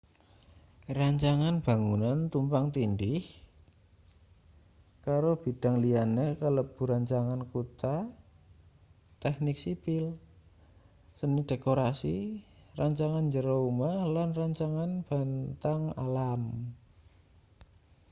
rancangan bangunan tumpang tindih karo bidang liyane kalebu rancangan kutha teknik sipil seni dekorasi rancangan njero omah lan rancangan bentang alam